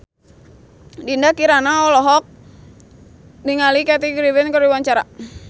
Dinda Kirana olohok ningali Kathy Griffin keur diwawancara